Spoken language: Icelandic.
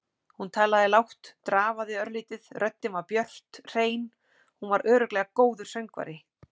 Hún talaði lágt, drafaði örlítið, röddin var björt, hrein- hún var örugglega góður söngvari.